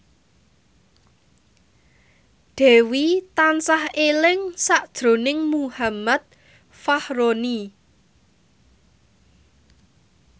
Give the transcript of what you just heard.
Dewi tansah eling sakjroning Muhammad Fachroni